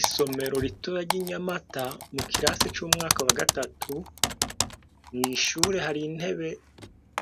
Isomero ritoya ry' iNyamata , mukirasi c'umwaka wagatatu, mw'ishuri hari intebe